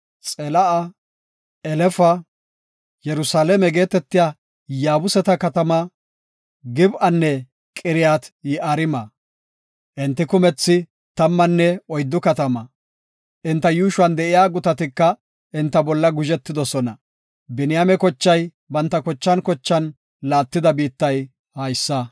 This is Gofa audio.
Xela7a, Elefa, Yerusalaame geetetiya Yaabuseta katama, Gib7anne Qiriyat-Yi7aarima. Enti kumethi tammanne oyddu katama. Enta yuushuwan de7iya gutatika enta bolla guzhetoosona. Biniyaame kochay banta kochan laattida biittay haysa.